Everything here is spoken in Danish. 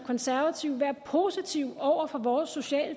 konservative være positive over for vores sociale